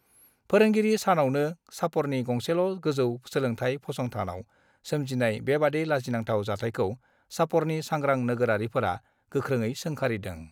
फोरोंगिरि सानआवनो चापरनि गंसेल ' गोजौ सोलोंथाय फसंथान आव सोमजिनाय बेबादि लाजिनांथाव जाथायखौ चापरनि सांग्रां नोगोरारिफोरा गोख्रोङ सोंखारिदों